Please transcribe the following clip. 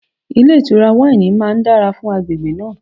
Ilé ìtura wáìnì máa dára fún agbègbè náà.